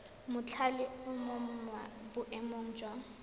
mothale o mo boemong jwa